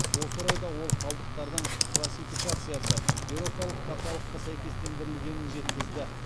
осы орайда ол қалдықтардың классификациясы еуропалық каталогқа сәйкестендірілгенін жеткізді